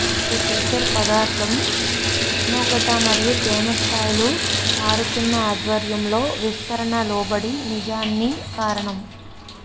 ఈ ఫీచర్ పదార్థం ఉష్ణోగ్రత మరియు తేమ స్థాయిలు మారుతున్న ఆధ్వర్యంలో విస్తరణ లోబడి నిజాన్ని కారణం